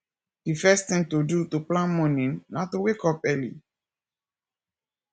di first thing to do to plan morning na to wake up early